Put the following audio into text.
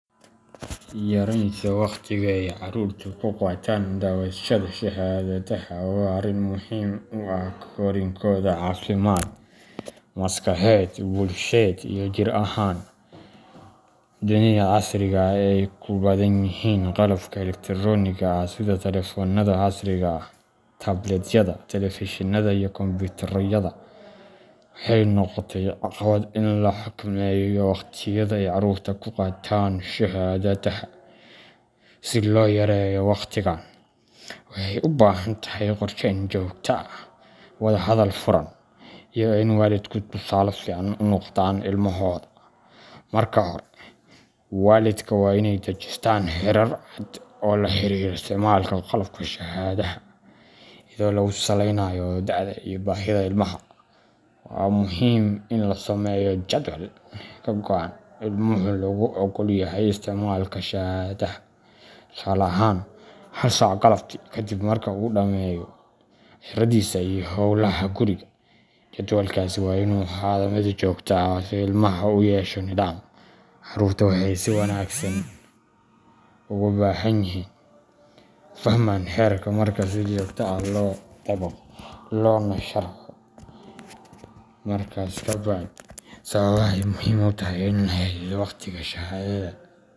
Yaraynta waqtiga ay carruurtu ku qaataan daawashada shaashadaha waa arrin muhiim u ah korriinkooda caafimaad, maskaxeed, bulsheed, iyo jir ahaan. Dunida casriga ah ee ay ku badan yihiin qalabka elektaroonigga ah sida taleefannada casriga ah, tabletyada, telefishinada iyo kombiyuutarrada, waxay noqotay caqabad in la xakameeyo waqtiyada ay carruurtu ku qaataan shaashadaha. Si loo yareeyo waqtigan, waxay u baahan tahay qorsheyn joogto ah, wadahadal furan, iyo in waalidku tusaale fiican u noqdaan ilmahooda. Marka hore, waalidka waa inay dejistaan xeerar cad oo la xiriira isticmaalka qalabka shaashadaha, iyadoo lagu saleynayo da’da iyo baahida ilmaha. Waa muhiim in la sameeyo jadwal go’an oo ilmaha loogu oggol yahay isticmaalka shaashadda, tusaale ahaan, hal saac galabtii kaddib marka uu dhammeeyo casharradiisa iyo howlaha guri. Jadwalkaasi waa inuu ahaado mid joogto ah si ilmaha ugu yeesho nidaam. Carruurtu waxay si wanaagsan u fahmaan xeerarka marka si joogto ah loo dabaqo loona sharxo sababaha ay muhiimka u tahay in la xadido waqtiga shaashada.